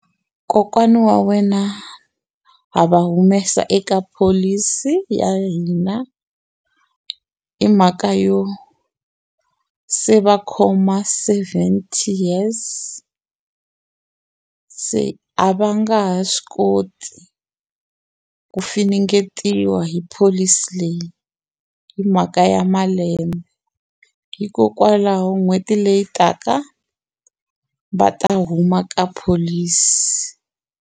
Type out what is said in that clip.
Kokwana wa wena ha va humesa eka pholisi ya hina hi mhaka yo se va khoma seventy years a se a va nga ha swi koti ku finingetiwa hi pholisi leyi hi mhaka ya malembe hikokwalaho n'hweti leyi taka va ta huma ka pholisi.